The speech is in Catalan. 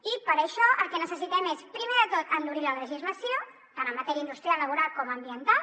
i per això el que necessitem és primer de tot endurir la legislació tant en matèria industrial i laboral com ambiental